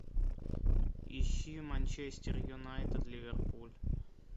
ищи манчестер юнайтед ливерпуль